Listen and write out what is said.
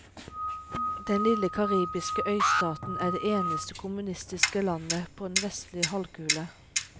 Den lille karibiske øystaten er det eneste kommunistiske landet på den vestlige halvkule.